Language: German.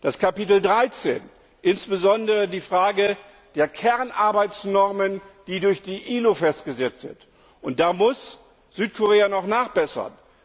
Bei Kapitel 13, insbesondere in der Frage der Kernarbeitsnormen, die durch die ILO festgesetzt sind, muss Südkorea noch nachbessern.